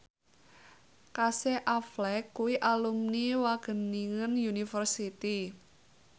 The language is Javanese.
Casey Affleck kuwi alumni Wageningen University